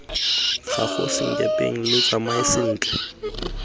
gago senkepeng lo tsamae sentle